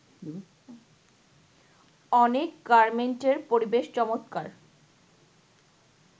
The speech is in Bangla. “অনেক গার্মেন্টের পরিবেশ চমৎকার